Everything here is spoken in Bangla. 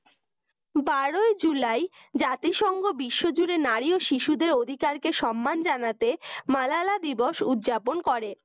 বারো জুলাই জাতিসংঘ বিশ্বজুড়ে নারী ও শিশুদের অধিকার সম্মান জানাতে মালালা দিবস উদযাপন করে